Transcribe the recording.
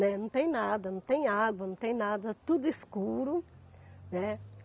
Né. Não tem nada, não tem água, não tem nada, tudo escuro, né.